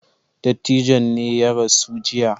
Dattijon ne ya rasu jiya.